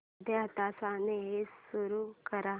अर्ध्या तासाने एसी सुरू कर